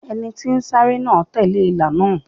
Ẹni tí ń sáré náà tẹ̀lé ìlà náà.